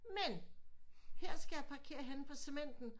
Men her skal jeg parkere henne på Cementen